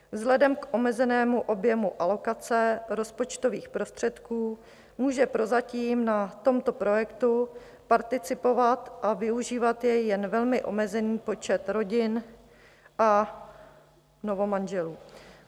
Vzhledem k omezenému objemu alokace rozpočtových prostředků může prozatím na tomto projektu participovat a využívat jej jen velmi omezený počet rodin a novomanželů.